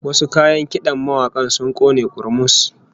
Wasu kayan kidan mawakin sun kone kurmus